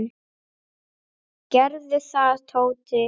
Gerðu það, Tóti.